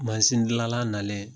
Masin dilanla nalen